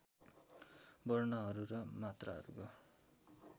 वर्णहरू र मात्राहरूको